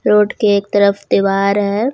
Road के एक तरफ दीवार है।